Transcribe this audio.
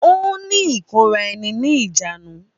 Ó ní ìkóra ẹni ni ìjánu